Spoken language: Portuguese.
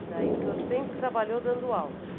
E o senhor sempre trabalhou dando aula?